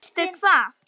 Veistu hvað?